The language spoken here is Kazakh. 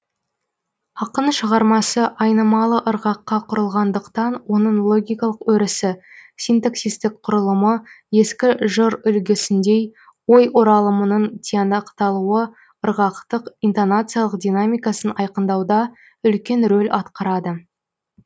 ақын шығармасы айнымалы ырғаққа құрылғандықтан оның логикалық өрісі синтаксистік құрылымы ескі жыр үлгісіндей ой оралымының тиянақталуы ырғақтық интонациялық динамикасын айқындауда үлкен рөл атқарады